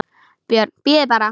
BJÖRN: Bíðið bara!